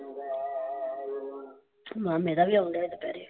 ਮਾਮੇ ਦਾ ਵੀ ਆਉਣਦਿਆਂ ਦੁਪਿਹਰੇ।